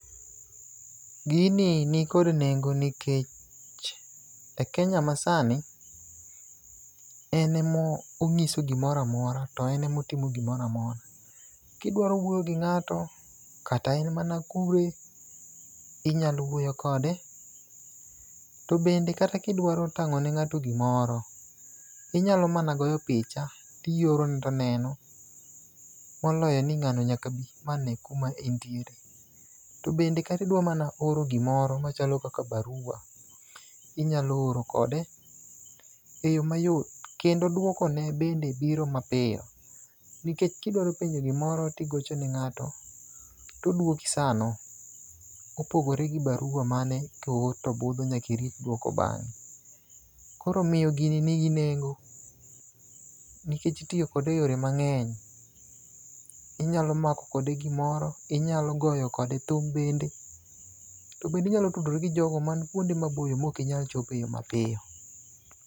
Gini nikod nengo nikech e kenya masani en emo ng'iso gimoramora to en emotimo gimoramora kidwaro wuoyo gi ng'ato kata en mana kure inya wuoyo kode. To bende kata kidwaro tango ne ngato gimoro inyalo mana goyo picha tioro ne toneno moloyo ni ng'ano nyaka bii nyaka kuma intiere. To bende idwa mana oro gimoro machalo kaka barua inyalo oro kode e yoo mayot kendo dwoko ne bende biro mapiyo nikech kidwaro penjo gimoro tigocho ne ng'ato todwoki sano kopogore gi barua mane koor to budho nyaki rit dwoko bang'e. Koro omiyo gini nigi nengo nikech itiyo kode e eyore mang'eny. Inyalo mako kode gimoro inyalo goyo kode thum bende to bende inyalo tudori gi jogo man kuonde maboyo ma ok inyal chope yoo mapiyo.